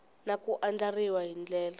na ku andlariwa hi ndlela